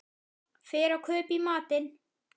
Fer og kaupi í matinn.